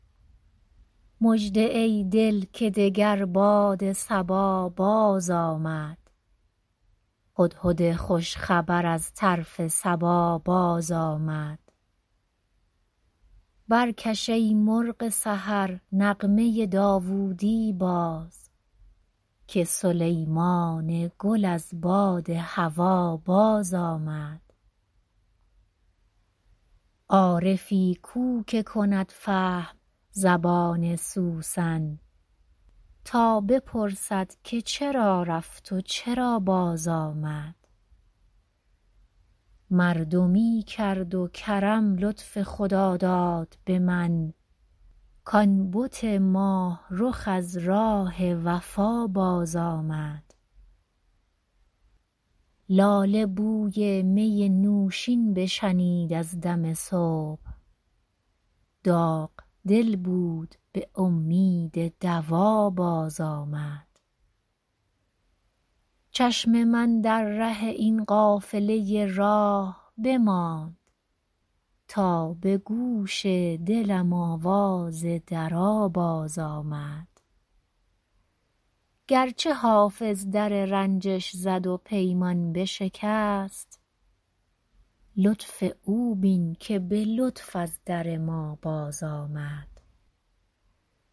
مژده ای دل که دگر باد صبا بازآمد هدهد خوش خبر از طرف سبا بازآمد برکش ای مرغ سحر نغمه داوودی باز که سلیمان گل از باد هوا بازآمد عارفی کو که کند فهم زبان سوسن تا بپرسد که چرا رفت و چرا بازآمد مردمی کرد و کرم لطف خداداد به من کـ آن بت ماه رخ از راه وفا بازآمد لاله بوی می نوشین بشنید از دم صبح داغ دل بود به امید دوا بازآمد چشم من در ره این قافله راه بماند تا به گوش دلم آواز درا بازآمد گرچه حافظ در رنجش زد و پیمان بشکست لطف او بین که به لطف از در ما بازآمد